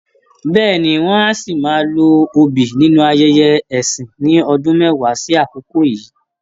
Bẹ́ẹ̀ni, wọ́n á ṣì máa lo obì nínú ayẹyẹ ẹ̀sìn ní ọdún mẹ́wàá sí àkokò yíì?.